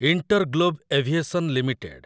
InterGlobe Aviation limited